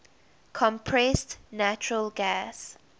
compressed natural gas